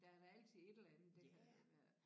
Der er da altid et eller andet der